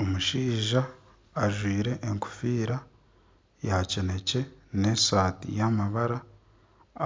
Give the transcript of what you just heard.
Omushaija ajwaire ekofiira ya kinekye n'esaati yamabara